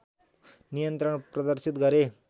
नियन्त्रण प्रदर्शित गरे